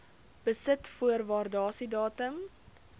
besit voor waardasiedatum